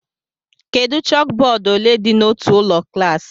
Kedu chókbódú ole dị n'otu ụlọ klas